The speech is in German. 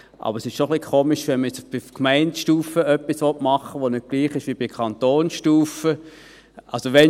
Aber es ist etwas merkwürdig, wenn man auf Gemeindestufe etwas machen will, das auf der Kantonsstufe nicht gleich ist.